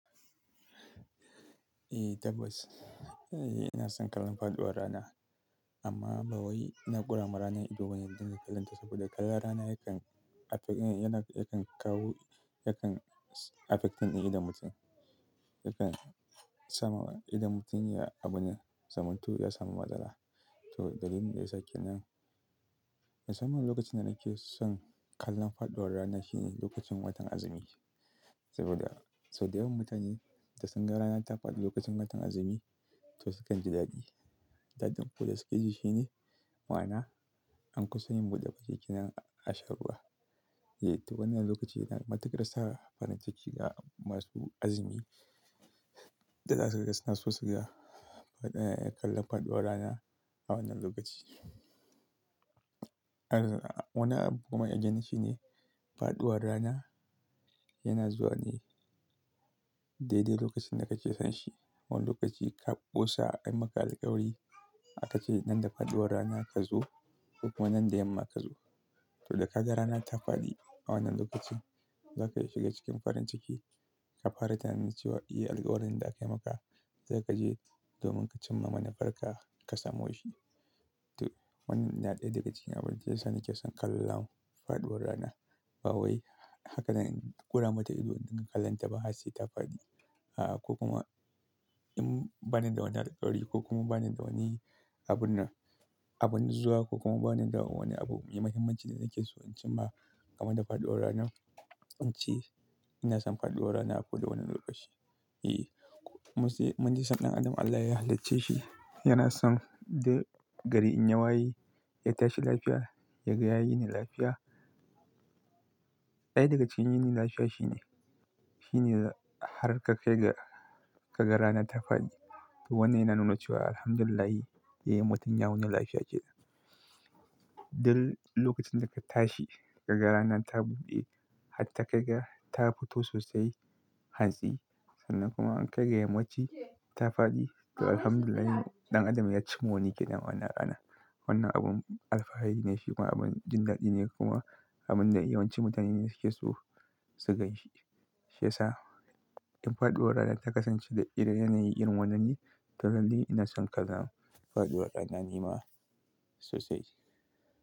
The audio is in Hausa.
Eh tabbas, eh ina son kallon faɗuwar rana. Amma ba wai ina ƙurama ranar ido wanda dinka kallanta saboda kalla rana yakan affect-- yana, yakan kawo, yakan affecting ɗin idon mutum. Yakan sama idon mutum ya abune, zamantu ya samu matsala. To dalilin da yasa kenan, musamman lokacin da nake son kallon faɗuwar rana shine lokacin watan azumi. Saboda sau da yawan mutane da sun ga rana ta faɗi lokacin watan azumi, to sukan ji dadi. Dadin ko da suke ji shine, ma'ana an kusa yin buɗe bacci nan a sha ruwa. Eh to wannan lokaci yana matukar sa farin ciki ga masu azumi. Daga haka suna sosai kallon faɗuwar rana a wannan lokaci. Wannan abu kuma again shine faɗuwar rana yana zuwa ne daidai lokacin da kake son shi. Wannan lokaci ka ƙosa, an yi maka alkawari, a ka ce nan da faɗuwar rana ka zo ko kuma nan da yamma ka zo. To da ka ga rana ta faɗi a wannan lokacin, za ka shiga cikin farin ciki, ka fara tunanin cewa "Eh alkawarin da aka yi maka za ka je domin ka cimma mana, farka ka samu shi." To wannan na ɗaya daga cikin abin da yasa nake son kallon faɗuwar rana. Ba wai haka zan ƙurama ta ido dinka kallanta ba har sai ta faɗi. A ko kuma in bani da wani alkawari ko kuma bani da wani abun nan, abun zuwa ko kuma bani da wani abu mai muhimmanci da nake so in cimma game da faɗuwar rana, in ce ina son faɗuwar rana a ko da wane lokaci. Eh mu ji, mun ji sun ɗan adam Allah ya halicce shi, yana son da gari in ya waye, ya tashi lafiya, ya ga ya yini lafiya. Ɗaya daga cikin yayi ne lafiya shine, shine har ka kai ga, ka ga rana ta faɗi. To wannan yana nuna cewa Alhamdulillah, eh mutum ya wuni lafiya kenan. Duk lokacin da ka tashi ka ga rana ta buɓe, hatta ka ga ta fito sosai hantsi sannan kuma an kai ga yammaci ta faɗi, to Alhamdulillah ɗan adam ya cimma wani keda ma'ana. Wannan abin alfahari ne fi kuma abin jin daɗi ne kuma abin da yawanci mutane ne suke so su ganshi. Shi yasa in faɗuwar rana ta kasance da ire yanayin irin wannan yi, to lallai ina son kallon faɗuwar rana ni ma sosai.